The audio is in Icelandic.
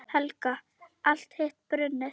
Helga: Allt hitt brunnið?